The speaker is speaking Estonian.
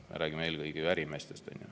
Me räägime eelkõige ärimeestest.